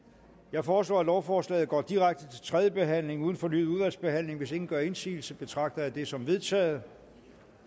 jeg foreslår at lovforslaget går direkte til tredje behandling uden fornyet udvalgsbehandling hvis ingen gør indsigelse betragter jeg det som vedtaget